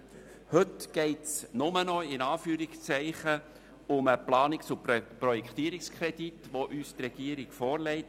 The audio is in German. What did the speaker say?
Heute geht es – in Anführungszeichen – nur noch um den Planungs- und Projektierungskredit, den uns die Regierung vorlegt.